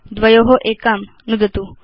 द्वयो एकां यथेच्छं नुदतु